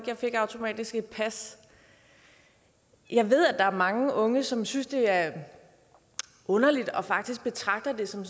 jeg fik automatisk et pas jeg ved at der er mange unge som synes det er underligt og faktisk betragter det som